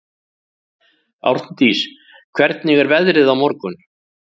Árndís, hvernig er veðrið á morgun?